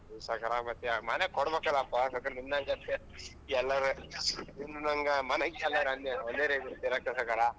ಸಾವ್ಕಾರ ಮತ್ತೆ ಮನೆಗೆ ಕೊಡ್ಬೇಕ್ ಅಲ್ಲಾ ಪ ಸಾವ್ಕಾರ ನಿನ್ಹಂಗ ಎಲ್ಲರ್ ನಿನ್ಹಂಗ ಮನೆ ಒಂದೆ ರೀತಿ ಇರಾಕ್ ಆಗಲ್ಲ.